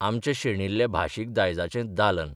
आमच्या शेणिल्ल्या भाशीक दायजाचें दालन.